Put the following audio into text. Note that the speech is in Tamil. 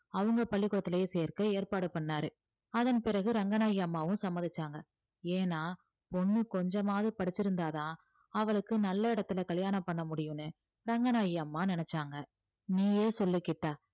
அவங்க பள்ளிக்கூடத்திலேயே சேர்க்க ஏற்பாடு பண்ணாரு அதன் பிறகு ரங்கநாயகி அம்மாவும் சம்மதிச்சாங்க ஏன்னா பொண்ணு கொஞ்சமாவது படிச்சிருந்தாதான் அவளுக்கு நல்ல இடத்துல கல்யாணம் பண்ண முடியும்னு ரங்கநாயகி அம்மா நினைச்சாங்க நீயே சொல்லு கிட்டா